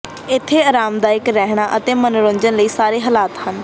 ਇੱਥੇ ਆਰਾਮਦਾਇਕ ਰਹਿਣ ਅਤੇ ਮਨੋਰੰਜਨ ਲਈ ਸਾਰੇ ਹਾਲਾਤ ਹਨ